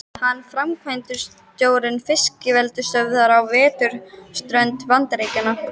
Hann er framkvæmdastjóri fiskeldisstöðvar á vesturströnd Bandaríkjanna.